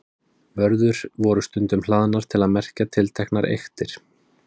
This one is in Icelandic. vörður voru stundum hlaðnar til að merkja tilteknar eyktir